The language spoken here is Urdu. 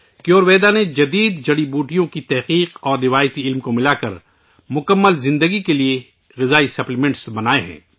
کَیور ویدا نے جدید جڑی بوٹیوں کی تحقیق اور روایتی علم کو ملا کر مکمل زندگی کے لئے غذائی سپلیمنٹس بنائے ہیں